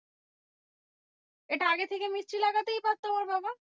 এটা আগে থেকে মিস্ত্রি লাগাতেই পারতো আমার বাবা?